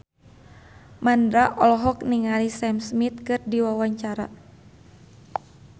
Mandra olohok ningali Sam Smith keur diwawancara